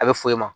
A bɛ fɔ i ma